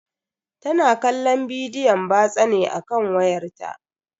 Tana kallon bidiyon batsa ne a kan wayarta.